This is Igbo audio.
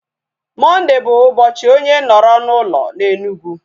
Mọnde bụ ụbọchị onye nọrọ na ụlọ na Enugu